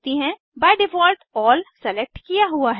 by default all select किया हुआ है